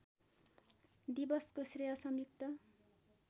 दिवसको श्रेय संयुक्त